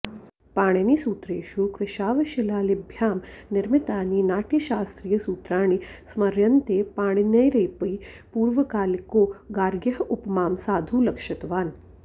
पाणिनिसूत्रेषु कृशाश्वशिलालिभ्यां निर्मितानि नाटयशास्त्रीयसूत्राणि स्मर्यन्ते पाणिनेरपि पूर्वकालिको गार्ग्यः उपमां साधु लक्षितवान्